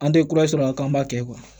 An tɛ kura sɔrɔ a la k'an b'a kɛ